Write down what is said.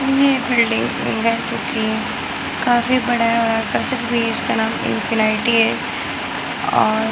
ये बिल्डिंग है बन चुकी हैं काफी बड़ा है और आकर्षक भी है। इसका नाम इन्फिनेटी है और --